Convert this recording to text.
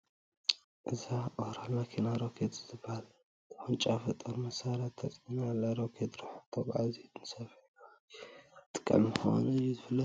እዛ ኦራል መኪና ሮኬት ዝበሃል ተወንጫፊ ጦር መሳርያ ተፃዒና ኣላ፡፡ ሮኬት ርሑቕ ተጓዓዚን ንስፍሕ ዝበለ ከባቢ ዘጥቅዕን ምዃኑ እዩ ዝፍለጥ፡፡